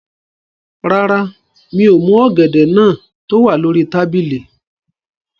Rárá, mi ò mú ọ̀gẹ̀dẹ̀ náà tó wà lórí tábìlì